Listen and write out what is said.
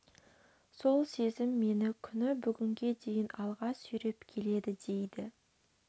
сол сезім мені күні бүгінге дейін алға сүйреп келеді дейді